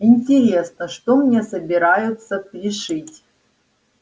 интересно что мне собираются пришить